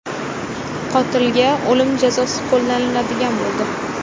Qotilga o‘lim jazosi qo‘llaniladigan bo‘ldi.